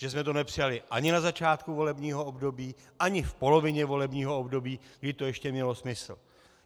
Že jsme to nepřijali ani na začátku volebního období, ani v polovině volebního období, kdy to ještě mělo smysl.